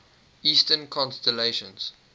eastern constellations